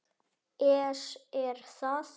ES Er það?